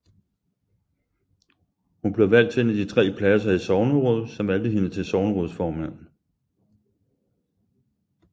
Hun blev valgt til en af de tre pladser i sognerådet som valgte hende til sognerådsformand